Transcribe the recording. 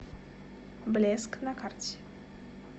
блеск на карте